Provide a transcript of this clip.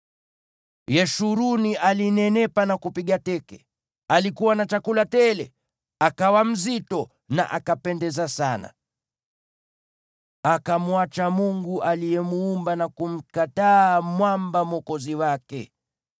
Yeshuruni alinenepa na kupiga teke; alikuwa na chakula tele, akawa mzito na akapendeza sana. Akamwacha Mungu aliyemuumba, na kumkataa Mwamba Mwokozi wake.